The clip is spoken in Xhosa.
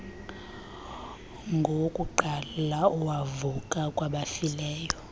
ngowokuqala owavuka kwabafileyo